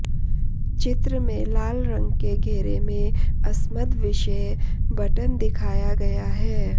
चित्र में लाल रंग के घेरे में अस्मद् विषये बटन दिखाया गया है